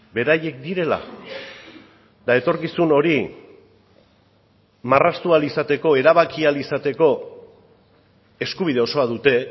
beraiek direla eta etorkizun hori marraztu ahal izateko erabaki ahal izateko eskubide osoa dute